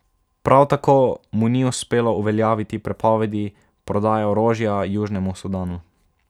Prav tako mu ni uspelo uveljaviti prepovedi prodaje orožja Južnemu Sudanu.